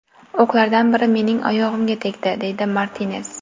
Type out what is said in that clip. O‘qlardan biri mening oyog‘imga tegdi”, deydi Martines.